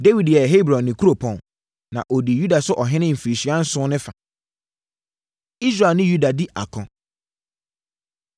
Dawid yɛɛ Hebron ne kuropɔn. Na ɔdii Yuda so ɔhene mfirinhyia nson ne fa. Israel Ne Yuda Di Ako